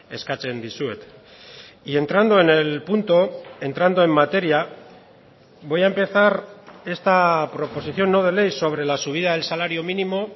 eskatzen dizuet y entrando en el punto entrando en materia voy a empezar esta proposición no de ley sobre la subida del salario mínimo